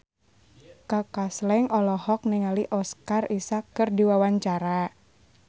Kaka Slank olohok ningali Oscar Isaac keur diwawancara